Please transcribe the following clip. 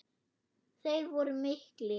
Þeir voru miklir.